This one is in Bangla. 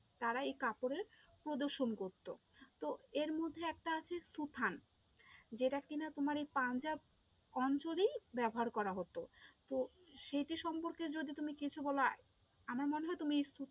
তারা এই কাপড়ের প্রদর্শন করতো, তো এরমধ্যে একটা আছে সুথান যেটা কিনা তোমার এই পাঞ্জাব অঞ্চলেই ব্যবহার করা হতো, তো সেইটা সম্পর্কে যদি তুমি কিছু বলো আমার মনে হয় তুমি